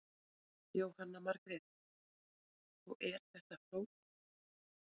Jóhanna Margrét: Og er þetta flókið?